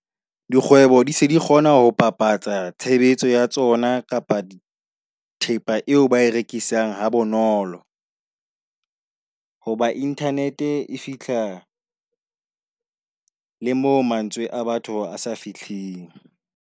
Dikgwebo di se di kgona ho bapatsa tshebetso ya tsona kapa thepa eo ba rekisang ha bonolo. Ho ba internet e fihla le mo mantswe a batho a sa fihling.